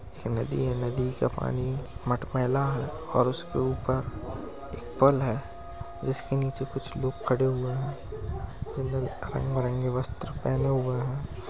नदी है। नदी का पानी मट मैला है और उसके ऊपर एक पल है जिसके नीचे कुछ लोग खड़े हुए हैं रंग बिरंगे वस्त्र पहने हुए हैं।